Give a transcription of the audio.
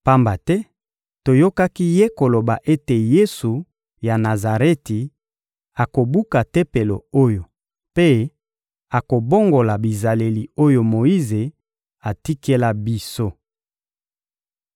pamba te toyokaki ye koloba ete Yesu ya Nazareti akobuka Tempelo oyo mpe akobongola bizaleli oyo Moyize atikela biso.